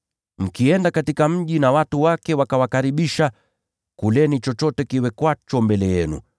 “Mkienda katika mji na watu wake wakawakaribisha, kuleni chochote kiwekwacho mbele yenu,